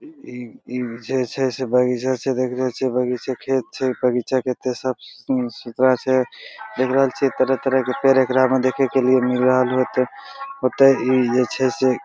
ई जे छै से बगीचो छै देखने छिये बगीचा खेत छै बगीचा कते साफ-सुथरा छै देख रहल छिये तरह-तरह के पेड़ एकरा में देखे के लिए मिल रहल होते ओते इ जे छै----